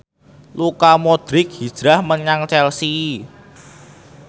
Luka Modric hijrah menyang Chelsea